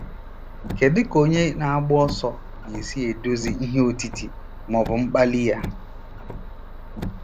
Kedu ka onye na-agba ọsọ ga-esi eduzi ihe otiti ma ọ bụ mkpali ya?